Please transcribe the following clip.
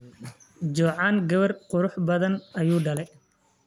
Jocan gawar kuruxbadaan ayudale.